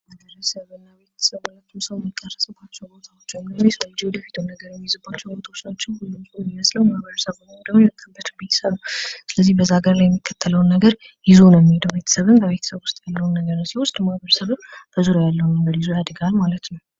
ማህበረሰብ እና ቤተሰብ ሁለቱም ሰው የሚቀረጽባቸው ቦታዎች እንዲሁም የሰው ልጅ የወደፊቱን ነገር የሚይዝባቸው ቦታዎች ናቸው። ሁሉም ሰው የሚመስለው ማህበረሰብ ውእይም ደግሞ የመጣበት ቤተሰብ ስለዚህ በዛ ሃገር ላይ የሚከተለውን ነገር ይዞ ነው የሚሄደው። ቤተሰብም በቤተሰብ ዉስጥ ያለውን ነገር ሲወስድ ማህበረሰብም በዙሪያው ያለውን ነገር ይዞ ያድጋል ማለት ነው።